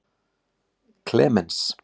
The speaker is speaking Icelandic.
Klemens